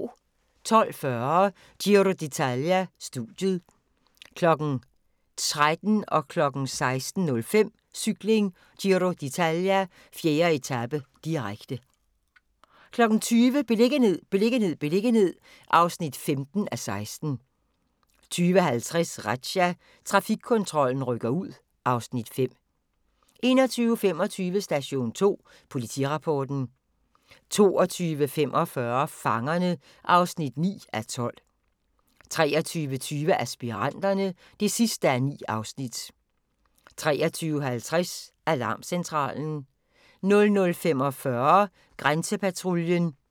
12:40: Giro d'Italia: Studiet 13:00: Cykling: Giro d'Italia - 4. etape, direkte 16:05: Cykling: Giro d'Italia - 4. etape, direkte 20:00: Beliggenhed, beliggenhed, beliggenhed (15:16) 20:50: Razzia – Trafikkontrollen rykker ud (Afs. 5) 21:25: Station 2 Politirapporten 22:45: Fangerne (9:12) 23:20: Aspiranterne (9:9) 23:50: Alarmcentralen 00:45: Grænsepatruljen